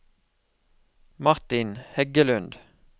Martin Heggelund